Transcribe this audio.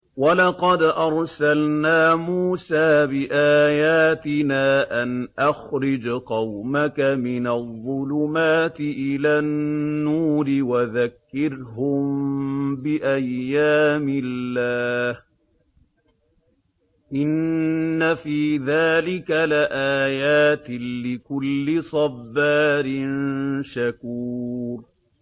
وَلَقَدْ أَرْسَلْنَا مُوسَىٰ بِآيَاتِنَا أَنْ أَخْرِجْ قَوْمَكَ مِنَ الظُّلُمَاتِ إِلَى النُّورِ وَذَكِّرْهُم بِأَيَّامِ اللَّهِ ۚ إِنَّ فِي ذَٰلِكَ لَآيَاتٍ لِّكُلِّ صَبَّارٍ شَكُورٍ